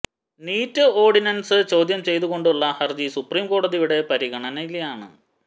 NEET ordinance ചോദ്യം ചെയ്ത് കൊണ്ടുള്ള ഹര്ജി സുപ്രീം കോടതിയുടെ പരിഗണനയിലാണ്